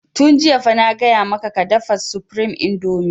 Tun jiya fa na gaya maka ka dafa supreme indomie!